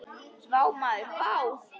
Vá maður vá!